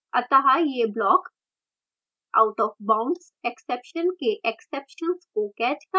अतः यह block arrayindexoutofboundsexception के exceptions को कैच कर सकता है